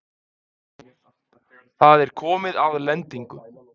Það er komið að lendingu.